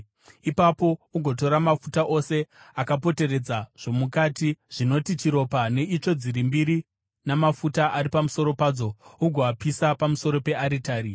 Ipapo ugotora mafuta ose akapoteredza zvomukati, zvinoti chiropa, neitsvo dziri mbiri namafuta ari pamusoro padzo, ugoapisa pamusoro pearitari.